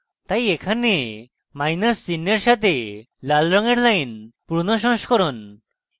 তাই এখানে মাইনাস চিহ্ন red সাথে লাল রঙের line পুরনো সংস্করণ